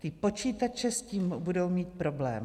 Ty počítače s tím budou mít problém.